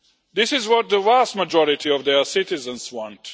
This is what the vast majority of their citizens want.